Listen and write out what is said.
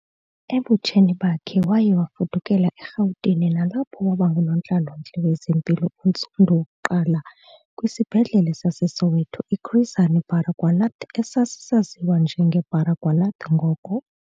Ebutsheni bakhe waye wafudukela eRhawutini nalapho wabangunontlalo-ntle wezempilo ontsundu wokuqala kwisibhedlele saseSoweto iChris Hani Baragwanath esasisaziwa njenge Baragwanath ngoko.